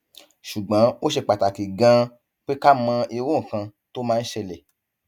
ṣùgbọn ó ṣe pàtàkì ganan pé ká mọ irú nǹkan tó máa ń ṣẹlẹ